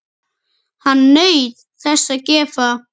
Hann naut þess að gefa.